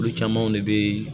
Olu camanw de bɛ